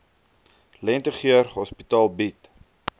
lentegeur hospitaal bied